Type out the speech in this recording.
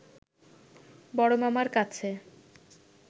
বড় মামার কাছে